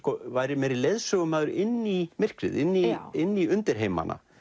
væri meiri leiðsögumaður inn í myrkrið inn í inn í undirheimana